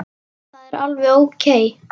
Það er alveg ókei.